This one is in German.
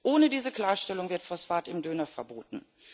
Ohne diese Klarstellung wird Phosphat im Döner verboten.